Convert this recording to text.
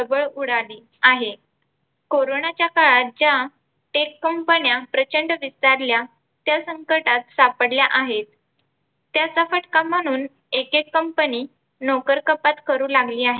उडाली आहे. कोरोनाच्या काळात fake कंपन्या प्रचंड विस्तारल्या त्या संकटात सापडल्या आहेत. त्याचा फटका म्हणून एक एक company नोकरकपात करू लागली आहे.